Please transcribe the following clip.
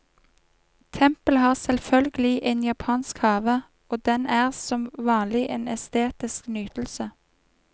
Tempelet har selvfølgelig en japansk have, og den er som vanlig en estetisk nytelse.